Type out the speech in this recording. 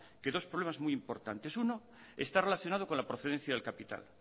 que dos problemas muy importantes uno está relacionado con la procedencia del capital